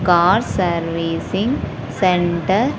Car servicing centre.